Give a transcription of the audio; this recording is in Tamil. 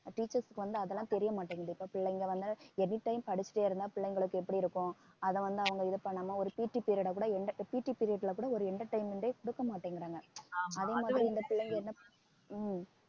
teachers க்கு வந்து அதெல்லாம் தெரிய மாட்டேங்குது இப்ப பிள்ளைங்க வந்து anytime படிச்சிட்டே இருந்தா பிள்ளைங்களுக்கு எப்படி இருக்கும் அதை வந்து அவங்க இது பண்ணாம ஒரு PT period அ கூட PT period ல கூட ஒரு entertainment ஏ குடுக்க மாட்டேங்குறாங்க அதே மாதிரி இந்த பிள்ளைங்க ஹம்